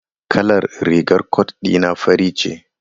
Kalar rigar cot dina fari ce.